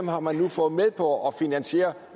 har man nu fået med på at finansiere